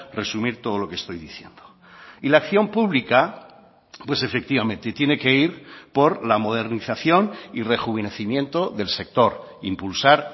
resumir todo lo que estoy diciendo y la acción pública pues efectivamente tiene que ir por la modernización y rejuvenecimiento del sector impulsar